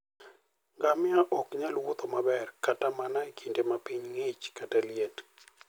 Ngamia ok nyal wuotho maber kata mana e kinde ma piny ng'ich kata liet.